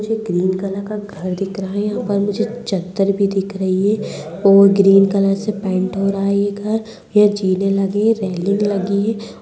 मुझे green colour का घर दिख रहा है यहाँ पर मुझे चद्दर भी दिख रही है और ग्रीन कलर से पेंट हो रहा है ये घर यहाँ जीने लगे हैं रेलिंग लगी है।